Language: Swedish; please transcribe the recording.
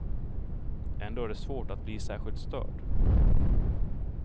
Ändå är det svårt att bli särskilt störd.